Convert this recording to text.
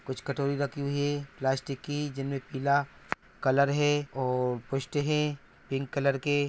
कुछ कटोरी रखी हुई है प्लास्टिक की। जिनमें पीला कलर है और पुष्ट है पिंक कलर के।